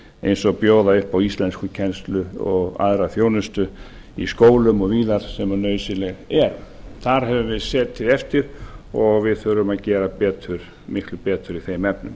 eins og bjóða upp á íslenskukennslu og aðra þjónustu í skólum og víðar sem nauðsynlegt er þar höfum við setið eftir og við þurfum að gera miklu betur í þeim efnum